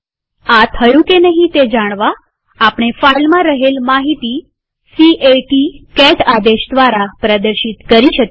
આ થયું કે નહિ તે જાણવા આપણે ફાઈલમાં રહેલ માહિતી c a ટી આદેશ દ્વારા પ્રદર્શિત કરી શકીએ